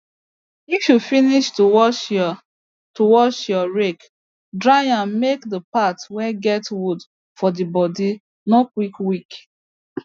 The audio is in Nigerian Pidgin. if you finish to wash your to wash your rake dry am make the part wey get wood for the bodi no quick weak